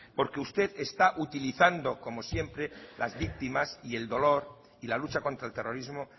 porque usted está utilizando como siempre las víctimas y el dolor y la lucha contra el terrorismo